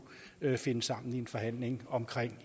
finde sammen i en forhandling om